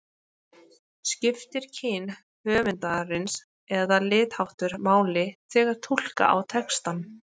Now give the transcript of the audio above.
Skiptir kyn höfundarins eða litarháttur máli þegar túlka á textann?